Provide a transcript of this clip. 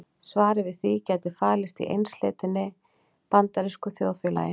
Svarið við því gæti falist í einsleitninni í bandarísku þjóðfélagi.